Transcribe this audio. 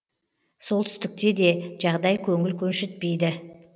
солтүстікте де жағдай көңіл көншітпейді